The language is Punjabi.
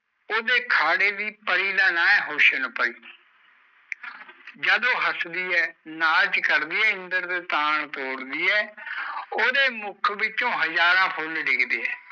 ਉਦੇ ਖੜੇ ਦੀ ਪਾਰਿ ਦਾ ਨਾਮ ਹੈ ਹੁਸਨ ਪਾਰਿ ਜਦ ਓ ਹੱਸ ਦੀ ਨਾਚ ਦੀ ਹੈ ਉਦੇ ਉਦੇ ਮੁਖ ਵਿੱਚੋ ਹਜਾਰਾਂ ਫੁਲ ਡਿਗਦੇ ਆ